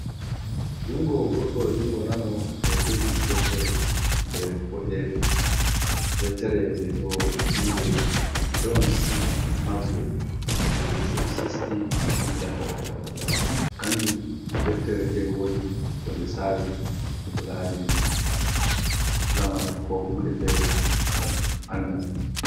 Jungo goɗɗo, jungo nano ɓeɗo jogi deftere fere boɗere, deftere nde ɗo inde jon si maxwel de tiri sisti lida, kanjum deftere nde wodi ko nde sawi ko lareni lamar ko hunde fere ngam andal.